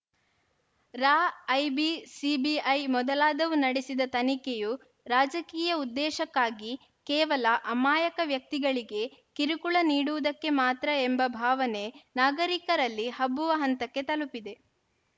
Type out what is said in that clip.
ರಾ IB CBI ಮೊದಲಾದವು ನಡೆಸಿದ ತನಿಖೆಯು ರಾಜಕೀಯ ಉದ್ದೇಶಕ್ಕಾಗಿ ಕೇವಲ ಅಮಾಯಕ ವ್ಯಕ್ತಿಗಳಿಗೆ ಕಿರುಕುಳ ನೀಡುವುದಕ್ಕೆ ಮಾತ್ರ ಎಂಬ ಭಾವನೆ ನಾಗರಿಕರಲ್ಲಿ ಹಬ್ಬುವ ಹಂತಕ್ಕೆ ತಲುಪಿದೆ